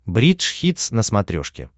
бридж хитс на смотрешке